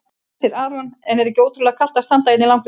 Hersir Aron: En er ekki ótrúlega kalt að standa hérna í langri röð?